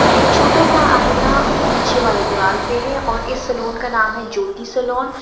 एक छोटा सा आईना पीछे वाले दीवाल पे है और इस सैलून का नाम है ज्योति सैलून ।